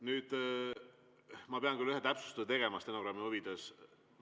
Nüüd, ma pean küll ühe täpsustuse stenogrammi huvides tegema.